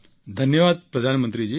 ધન્યવાદ પ્રધાનમંત્રીજી